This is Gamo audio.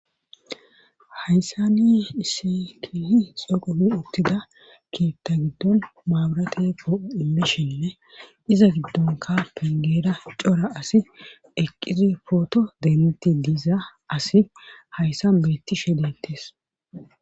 hayssani isse kiehi xoqomi uttida keetta giddon maaburateko imishinne iza giddonka pingera cora asi eqqizi pooto denti diiza asi hayssan beetti shedettes